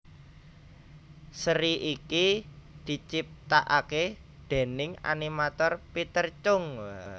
Seri iki diciptakaké déning animator Peter Chung